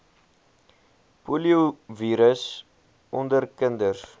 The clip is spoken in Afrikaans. poliovirus onder kinders